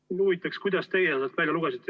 Mind huvitab, mida teie sealt välja lugesite.